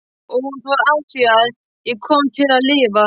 Og hún fór afþvíað ég kom til að lifa.